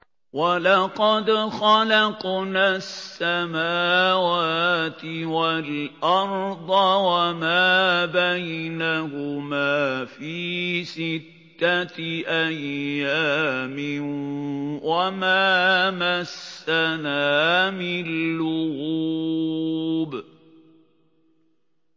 وَلَقَدْ خَلَقْنَا السَّمَاوَاتِ وَالْأَرْضَ وَمَا بَيْنَهُمَا فِي سِتَّةِ أَيَّامٍ وَمَا مَسَّنَا مِن لُّغُوبٍ